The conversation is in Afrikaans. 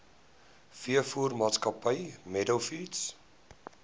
veevoermaatskappy meadow feeds